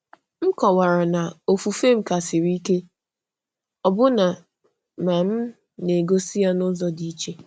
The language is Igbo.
M kọ̀wara na ofufe m ka siri ike, ọbụna ma m na-egosi ya n’ụzọ dị iche.